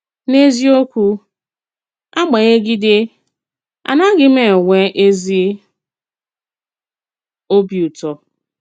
N’eziòkwù, àgbànyègídè, ànàghì m ènwè èzì òbì ùtọ́.